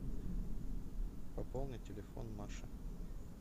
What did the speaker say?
пополни телефон маши